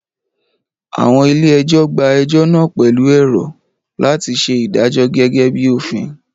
Àwọn ilé ẹjọ́ gba ẹjọ́ náà pẹ̀lú èrò láti ṣe ìdájọ́ gẹ́gẹ́ bíi òfin